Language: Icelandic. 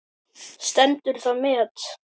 Stendur það met enn.